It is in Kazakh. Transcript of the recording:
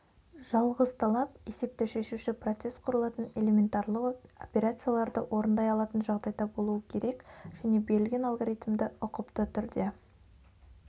жалғыз талап есепті шешуші поцесс құрылатын элементарлы операцияларды орындай алатын жағдайда болуы керек және берілген алгоритмді ұқыпты түрде